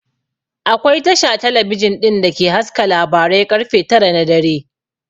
Akwai Tasha talabijin ɗin da ke haska labarai ƙarfe tara na dare